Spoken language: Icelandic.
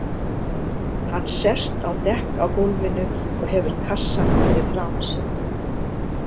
Hann sest á dekk á gólfinu og hefur kassann fyrir framan sig.